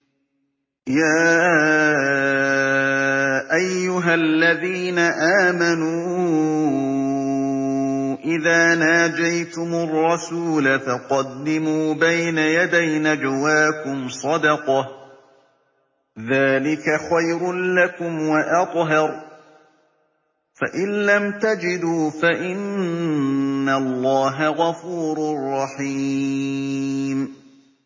يَا أَيُّهَا الَّذِينَ آمَنُوا إِذَا نَاجَيْتُمُ الرَّسُولَ فَقَدِّمُوا بَيْنَ يَدَيْ نَجْوَاكُمْ صَدَقَةً ۚ ذَٰلِكَ خَيْرٌ لَّكُمْ وَأَطْهَرُ ۚ فَإِن لَّمْ تَجِدُوا فَإِنَّ اللَّهَ غَفُورٌ رَّحِيمٌ